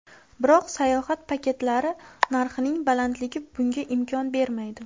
Biroq sayohat paketlari narxining balandligi bunga imkon bermaydi.